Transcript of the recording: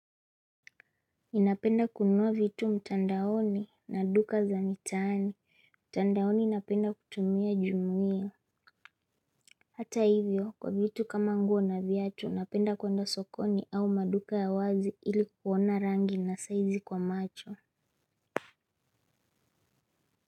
Ninapenda kunua vitu mtandaoni na duka za mitaani mtandaoni napenda kutumia jumuia hata hivyo kwa vitu kama nguo na viatu napenda kuenda sokoni au maduka ya wazi ili kuona rangi na saizi kwa macho.